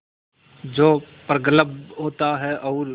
जो प्रगल्भ होता है और